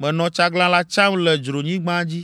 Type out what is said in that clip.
“Menɔ tsaglalã tsam le dzronyigba dzi.”